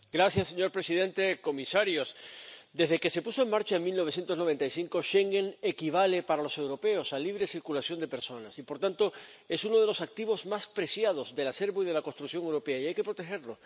Señor presidente, comisarios, desde que se puso en marcha en 1995, Schengen equivale para los europeos a libre circulación de personas y, por tanto, es uno de los activos más preciados del acervo y de la construcción europea y hay que protegerlo.